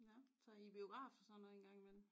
Nå så I er i biograf og sådan nøj engang imellem?